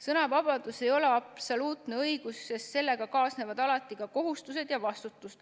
Sõnavabadus ei ole absoluutne õigus, sest sellega kaasnevad alati ka kohustused ja vastutus.